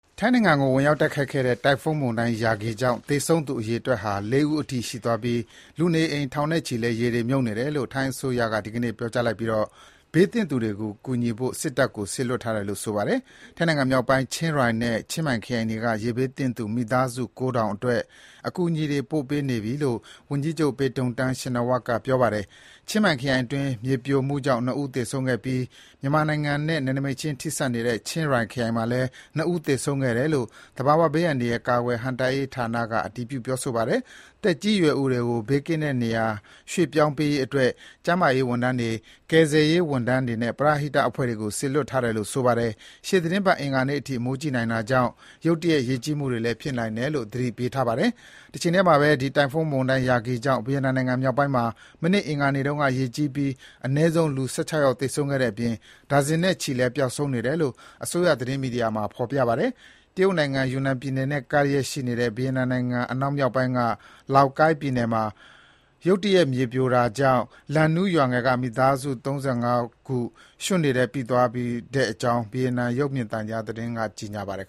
ထိုင်းနိုင်ငံကို ဝင်ရောက်တိုက်ခတ်ခဲ့တဲ့ တိုင်ဖုန်းမုန်တိုင်း Yagi ကြောင့် သေဆုံးသူ အရေအတွက်ဟာ ၄ ဦးအထိ ရှိသွားပြီး လူနေအိမ် ထောင်နဲ့ချီလည်း ရေတွေ မြုပ်နေတယ်လို့ ထိုင်းအစိုးရက ဒီကနေ့ ပြောကြားလိုက်ပြီး ဘေးသင့်သူတွေကို ကူညီဖို့ စစ်တပ်ကိုလည်း စေလွှတ်ထားတယ်လို့ ဆိုပါတယ်။ ထိုင်းနိုင်ငံမြောက်ပိုင်း ချင်းရိုင်နဲ့ ချင်းမိုင်ခရိုင်တွေက ရေဘေးသင့်သူ မိသားစု ၉,၀၀၀ အတွက် အကူအညီတွေ ပို့ပေးနေပြီလို့ ဝန်ကြီးချုပ် Paetongtarn Shinawatra က ပြောပါတယ်။ ချင်းမိုင်ခရိုင်အတွင်း မြေပြိုမှုကြောင့် ၂ ဦး သေဆုံးခဲ့ပြီး မြန်မာနိုင်ငံနဲ့ နယ်နိမိတ်ချင်း ထိစပ်နေတဲ့ ချင်းရိုင်ခရိုင်မှာလည်း ၂ ဦး သေဆုံးခဲ့တယ်လို့ သဘာဝဘေးအန္တရာယ် ကာကွယ်ဟန့်တားရေးဌာနက အတည်ပြု ပြောဆိုပါတယ်။ သက်ကြီးရွယ်အိုတွေကို ဘေးကင်းတဲ့နေရာ ရွှေ့ပြောင်းပေးရေးအတွက် ကျန်းမာရေးဝန်ထမ်းတွေ၊ ကယ်ဆယ်ရေးဝန်ထမ်းတွေနဲ့ ပရဟိတ အဖွဲ့တွေကို စေလွှတ်ထားတယ်လို့ ဆိုပါတယ်။ ရှေ့သီတင်းပတ် အင်္ဂါနေ့အထိ မိုးကြီးနိုင်တာကြောင့် ရုတ်တရက် ရေကြီးမှုတွေ ဖြစ်နိုင်တယ်လို့ ဆိုပါတယ်။ တချိန်တည်းမှာဘဲ ဒီ တိုင်ဖုန်းမုန်တိုင်း Yagi ကြောင့် ဗီယက်နမ်နိုင်ငံမြောက်ပိုင်းမှာ မနေ့ အင်္ဂါနေ့တုန်းက ရေကြီးပြီး အနည်းဆုံး လူ ၁၆ ယောက်သေဆုံးခဲ့တဲ့အပြင် ဒါဇင်နဲ့ချီလည်း ပျောက်ဆုံးနေတယ်လို့ အစိုးရသတင်းမီဒီယာမှာ ဖော်ပြထားပါတယ်။ တရုတ်နိုင်ငံ ယူနန်ပြည်နယ်နဲ့ ကပ်လျက် ဗီယက်နမ်နိုင်ငံအနောက်မြောက်ပိုင်းက Lao Cai ပြည်နယ်မှာ ရုတ်တရက်မြေပြိုခဲ့တာကြောင့် Lang Nu ရွာငယ်က မိသားစု ၃၅ ခု ရွှံ့တွေကြား ပိသွားခဲ့ကြောင်း ဗီယက်နမ်အစိုးရ ရုပ်သံလိုင်း VTV က ကြေညာခဲ့ပါတယ်